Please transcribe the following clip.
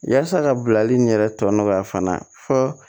Yasa ka bilali nin yɛrɛ tɔ nɔgɔya fana fɔ